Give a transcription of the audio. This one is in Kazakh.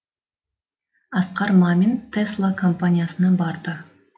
асқар мамин тесла компаниясына барды